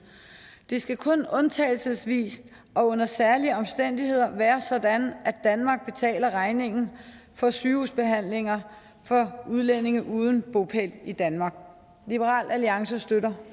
det skal kun undtagelsesvist og under særlige omstændigheder være sådan at danmark betaler regningen for sygehusbehandlinger for udlændinge uden bopæl i danmark liberal alliance støtter